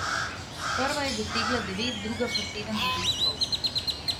Prva je dosegla devet, druga pa sedem zadetkov.